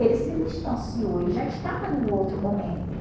Ele se distanciou, ele já estava em um outro momento.